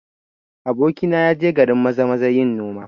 Abokina ya je garin Maza-maza yin noma